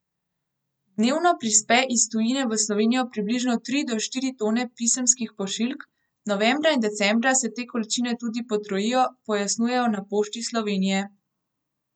Dnevno prispe iz tujine v Slovenijo približno tri do štiri tone pisemskih pošiljk, novembra in decembra se te količine tudi potrojijo, pojasnjujejo na Pošti Slovenije.